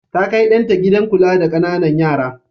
Ta kai ɗan ta gidan kula da ƙananan yara.